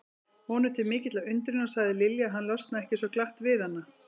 Honum til mikillar undrunar sagði Lilja að hann losnaði ekki svo glatt við hana.